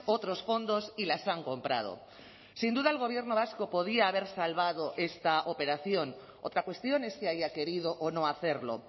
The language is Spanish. otros fondos y las han comprado sin duda el gobierno vasco podía haber salvado esta operación otra cuestión es que haya querido o no hacerlo